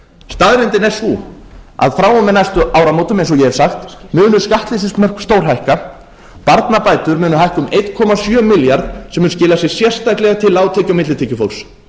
staðreyndin er sú að frá og með næstu áramótum eins og ég hef sagt munu skattleysismörk stórhækka barnabætur munu hækka um einn komma sjö milljarð sem mun skila sér sérstaklega til lágtekju og millitekjufólks